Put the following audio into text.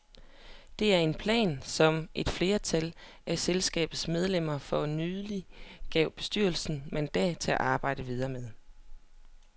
Det er en plan, som et flertal af selskabets medlemmer for nylig gav bestyrelsen mandat til at arbejde videre med.